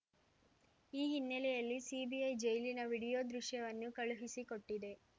ಈ ಹಿನ್ನೆಲೆಯಲ್ಲಿ ಸಿಬಿಐ ಜೈಲಿನ ವಿಡಿಯೋ ದೃಶ್ಯವನ್ನು ಕಳುಹಿಸಿಕೊಟ್ಟಿದೆ